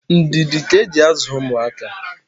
ndidi ka e ji azụ ụmụaka.